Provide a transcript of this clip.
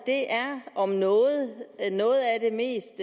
om noget er noget af det mest